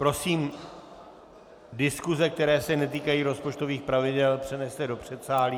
Prosím, diskuse, které se netýkají rozpočtových pravidel, přeneste do předsálí...